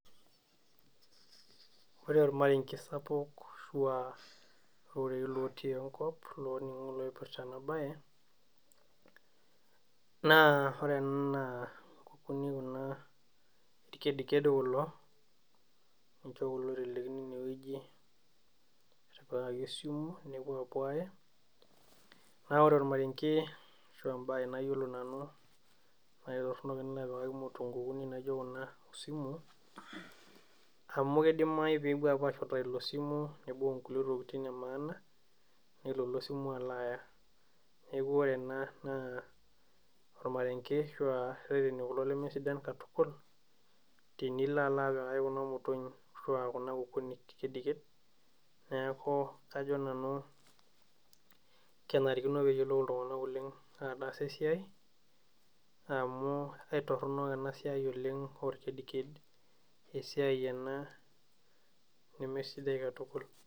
Ore ormarenge sapuk ashua irorei lotii enkop loning'o loipirta ena baye naa ore ena naa inkukuni kuna irkediked kulo ninche kulo oitelekino enewueji etipikaki osimu nepuo apuo aaye naa ore ormarenge ashua embaye nayiolo nanu naitorronok enilo apikaki imut inkukunik naijio kuna osimu amu kidimai peepuo ashutaa ilo simu nibung inkulie tokitin e maana nelo ilo simu alo aaya neku ore ena naa ormarenge ashua irreteni kulo lemesidan katukul tenilo alo apikaki kuna motonyi ashua kuna kukuni kediked neeku kajo nanu kenarikino peyiolou iltung'anak oleng ataas esiai amu aitorronok ena siai oleng orkediked esiai ena nemesidai katukul.